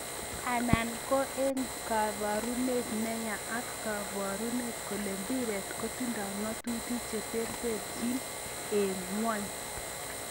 Anan kokeengu kabarunet neya ak keboru kole mbiret kotindo ngatutik chetereterchin eng ngweny?